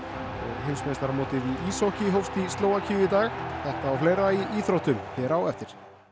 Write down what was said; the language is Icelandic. heimsmeistaramótið í íshokkí hófst í Slóvakíu í dag þetta og fleira í íþróttum hér á eftir